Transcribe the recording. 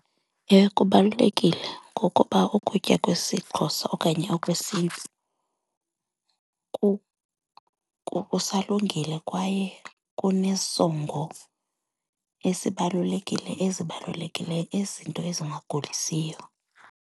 Ewe, kubalulekile ngokuba ukutya kwesiXhosa okanye okwesiNtu kusalungile kwaye kunesongo ezibalulekile ezibalulekileyo, izinto ezingagulisiyo.